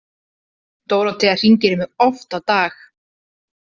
Dórótea hringir í mig oft á dag.